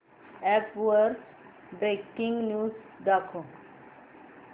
app वर breaking news दाखव